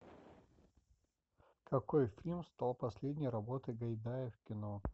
какой фильм стал последней работой гайдая в кино